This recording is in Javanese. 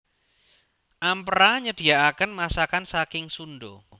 Ampera nyediaken masakan saking sundo